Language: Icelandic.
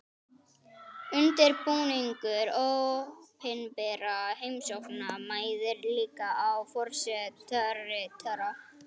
Undirbúningur opinberra heimsókna mæðir líka á forsetaritara.